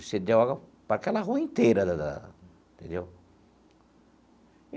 Cedeu água para aquela rua inteira da da entendeu?